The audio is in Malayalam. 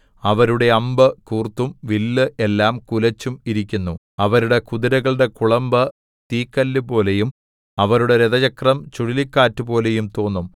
അവരുടെ അമ്പ് കൂർത്തും വില്ല് എല്ലാം കുലച്ചും ഇരിക്കുന്നു അവരുടെ കുതിരകളുടെ കുളമ്പ് തീക്കല്ലുപോലെയും അവരുടെ രഥചക്രം ചുഴലിക്കാറ്റുപോലെയും തോന്നും